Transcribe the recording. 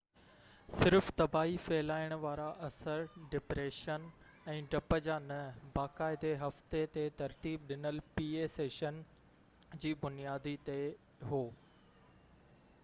صرف تباهي ڦهلائڻ وارا اثر ڊپريشن ۽ ڊپ جا نہ باقاعدي هفتي تي ترتيب ڏنل pa سيسشن جي بنياد تي هو